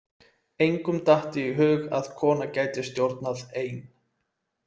Engum datt í hug að kona gæti stjórnað ein.